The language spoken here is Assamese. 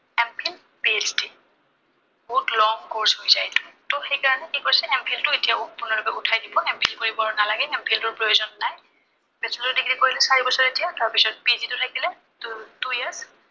PHD বহুত long course হৈ যায় এইটো। ত সেই কাৰনে কি কৈছে M Phil টো এতিয়া সম্পূৰ্ণৰূপে উঠাই দিব। M Phil কৰিব আৰু নালাগে, M Phil টোৰ প্ৰয়োজন নাই। Becholor degree কৰিলে চাৰি বছৰ এতিয়া, তাৰপিছত PhD থাকিলে two years